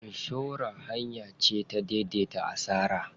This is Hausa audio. Inshora hanya ce ta dai dai ta asara.